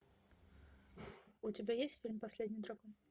у тебя есть фильм последний дракон